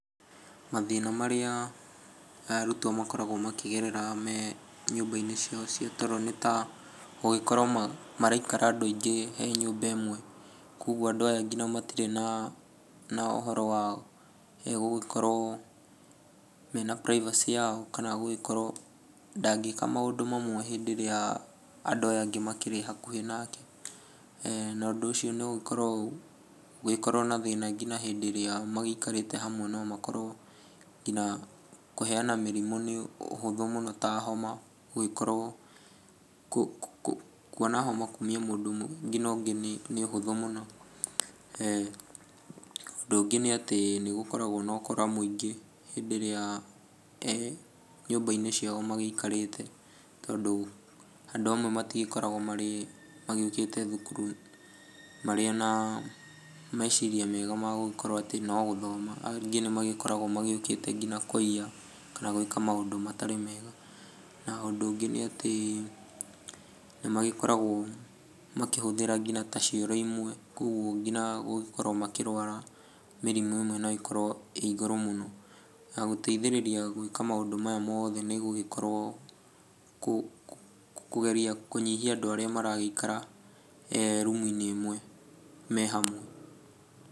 Mathĩna marĩa arutwo makoragwo makĩgerera me nyũmba-inĩ ciao cia toro nĩ ta gũgĩkorwo maraikara andũ aingĩ he nyũmba ĩmwe. Kwa ũguo andũ aya ngina matirĩ na na ũhoro wa gũgĩkorwo mena privacy [c] yao kana gũgĩkorwo ndangĩĩka maũndũ mamwe hĩndĩ ĩrĩa andũ aya angĩ makĩrĩ hakuhĩ nake na ũndũ ũcio no ũkorwo , ũgĩkorwo na thĩna nginya hĩndĩ ĩrĩa magĩikĩrĩte hamwe no makorwo nginya, kũheana mĩrimũ nĩ ũhũthũ mũno ta homa, gũgĩkorwo kuona homa kumia mũndũ ũmwe nginya ũngĩ nĩ ũhũthũ mũno. Ũndũ ũngĩ nĩ atĩ nĩ gũkoragwo na ũkora mũingĩ hĩndĩ ĩrĩa nyũmba-inĩ ciao magĩikarĩte tondũ andũ amwe matigĩkoragwo marĩ, magĩũkĩte thukuru marĩ ona meciria mega ma gũgĩkorwo atĩ no gũgĩthoma, angĩ nĩmagĩkoragwo magĩũkĩte ngina kũiya kana gwĩka maũndũ matarĩ mega. Na ũndũ ũngĩ nĩ atĩ magĩkoragwo makĩhũthĩra ngina ta cioro imwe, koguo ngina gũkorwo makĩrwara mĩrimũ ĩmwe no ĩkorwo ĩ igũrũ mũno. Na gũteithĩrĩria gwĩka maũndũ maya mothe nĩ gũgĩkorwo kũgeria kũnyihia andũ arĩa maragĩikara rumu-inĩ ĩmwe me hamwe.